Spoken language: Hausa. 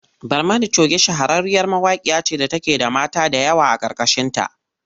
Barmani coge shahararriyar mawaƙiya ce da take da mata da yawa a ƙarƙashinta.